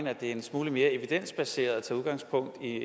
at det er en smule mere evidensbaseret at tage udgangspunkt i